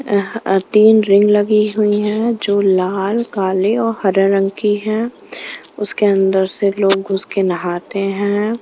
अ अह तीन रिंग लगी हुई है जो लाल काले और हरे रंग की है उसके अंदर से लोग घुस के नहाते हैं।